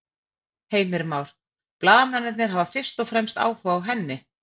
Heimir Már: Blaðamennirnir hafa fyrst og fremst áhuga á henni?